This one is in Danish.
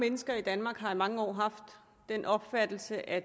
mennesker i danmark har i mange år haft den opfattelse at